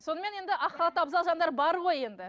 сонымен енді ақ халатты абзал жандар бар ғой енді